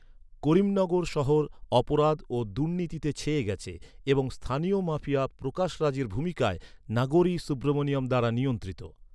করিমনগর শহর অপরাধ ও দুর্নীতিতে ছেয়ে গেছে এবং স্থানীয় মাফিয়া প্রকাশ রাজের ভূমিকায় নাগোরি সুব্রামানিয়াম দ্বারা নিয়ন্ত্রিত।